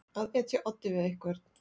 Að etja oddi við einhvern